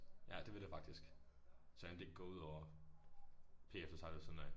Ja det vil det faktisk især når det ikke går ud over pf der sejler ved siden af